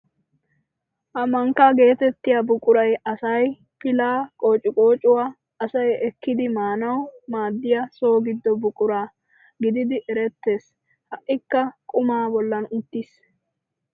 Ha mankkaa geetettiya buquray asay pilaa, qoociqqoocuwa asay ekkidi maanawu maaddiya so giddo buqura gididi erettees. Ha"ikka qumaa bollan uttiis.